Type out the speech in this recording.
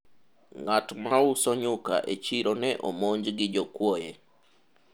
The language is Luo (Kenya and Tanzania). ng'at mauso nyuka e chiro ne omonj gi jokuoye